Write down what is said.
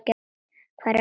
Hvar er ég?